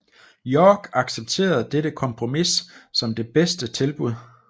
York accepterede dette kompromis som det bedste tilbud